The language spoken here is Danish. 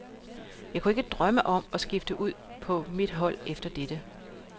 Jeg kunne ikke drømme om at skifte ud på mit hold efter dette.